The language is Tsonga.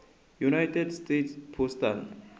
united states postal